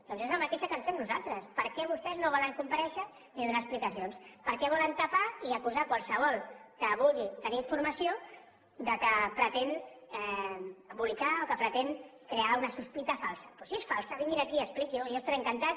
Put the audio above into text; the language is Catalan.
doncs és la mateixa que ens fem nosaltres per què vostès no volen comparèixer ni donar explicacions per què volen tapar i acusar a qualsevol que vulgui tenir informació que pretén embolicar o que pretén crear una sospita falsa doncs si és falsa vinguin a aquí i expliquin ho jo estaré encantat